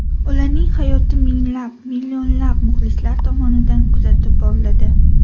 Ularning hayoti minglab, millionlab muxlislar tomonidan kuzatib boriladi.